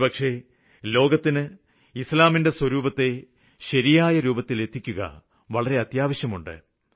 ഒരുപക്ഷേ ലോകത്തിന് ഇസ്ലാമിന്റെ ശരിയായ സ്വരൂപത്തെ ശരിയായ രൂപത്തില് എത്തിക്കുക വളരെയേറെ അത്യാവശ്യമുണ്ട്